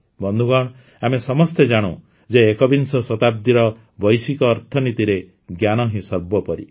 ବନ୍ଧୁଗଣ ଆମେ ସମସ୍ତେ ଜାଣୁ ଯେ ଏକବିଂଶ ଶତାବ୍ଦୀର ବୈଶ୍ୱିକ ଅର୍ଥନୀତିରେ ଜ୍ଞାନ ହିଁ ସର୍ବୋପରି